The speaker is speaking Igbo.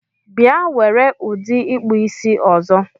Bia were udi ikpụ isi ọzọ!